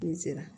N sera